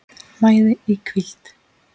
mæði í hvíld